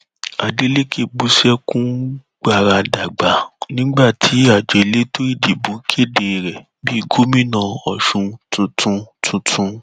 adélekẹ bú sẹkún gbaradàgbà nígbà tí àjọ elétò ìdìbò kéde rẹ bíi gómìnà ọṣun tuntun tuntun